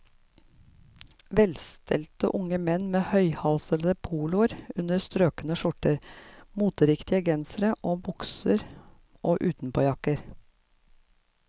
Velstelte unge menn med høyhalsede poloer under strøkne skjorter, moteriktige gensere og bukser og utenpåjakker.